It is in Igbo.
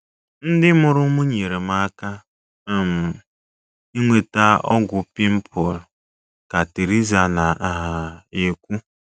“ Ndị mụrụ m nyeere m aka um inweta ọgwụ pịmpụl, ” ka Teresa na - um ekwu.